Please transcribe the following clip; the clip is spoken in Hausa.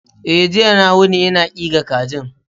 E, jiya na wuni ina ƙiga kajin.